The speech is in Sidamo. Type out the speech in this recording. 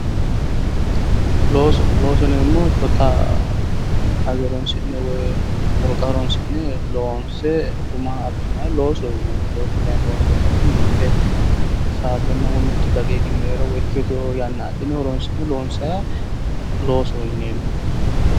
Looso, looso yinemmohu shota hayyo woyi wolqa horoni'ne loonse guma abbiha loosoho yineemmo loosu kayi loonseemmo woyiite mitte saatenna woyi mittu daqiiqi woyi ikkitewo yanna adhine horonsi'ne loonsayiiha loosoho yineemmo.